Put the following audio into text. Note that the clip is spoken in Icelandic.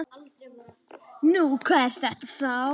Nú, hvað er þetta þá?